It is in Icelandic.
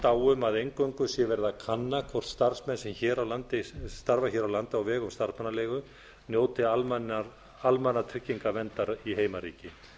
á um að eingöngu sé verið að kanna hvort starfsmenn sem starfa hér á landi á vegum starfsmannaleigu njóti almannatryggingaverndar í heimaríki